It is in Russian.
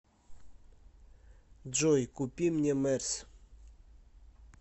джой купи мне мерс